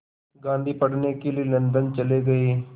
गांधी पढ़ने के लिए लंदन चले गए